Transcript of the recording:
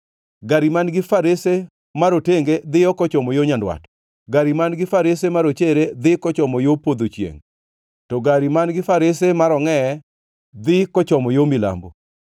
Gari man-gi farese marotenge dhiyo kochomo yo nyandwat, gari man-gi farese marochere dhi kochomo yo podho chiengʼ, to gari man-gi farese marongʼeye dhi kochomo yo milambo.”